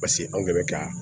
Paseke anw de bɛ ka